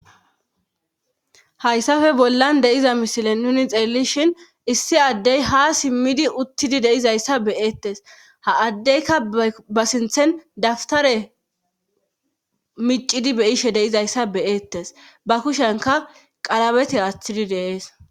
Hayssafe bollan deyiza misilen nuni xeellishin issi addey ha simmidi uttidi deizayssa beyeettes ha addeyka ba sinthen daftare micidi beyishe deizayssa beyeettes ba kushenka qalabeti aaththidi de'ees.